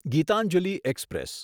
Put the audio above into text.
Gitanjali express